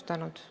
Aitäh!